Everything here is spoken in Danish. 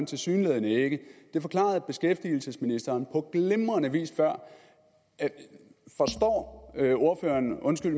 tilsyneladende ikke det forklarede beskæftigelsesministeren på glimrende vis før forstår ordføreren undskyld